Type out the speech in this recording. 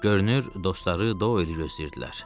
Görünür dostları Doyeli gözləyirdilər.